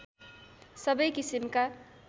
सबै किसिमका